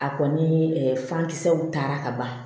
A kɔni fankisɛw taara ka ban